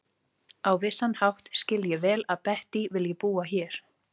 Á vissan hátt skil ég vel að Bettý vilji búa hér.